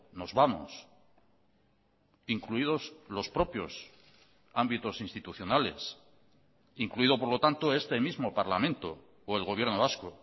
nos vamos incluidos los propios ámbitos institucionales incluido por lo tanto este mismo parlamento o el gobierno vasco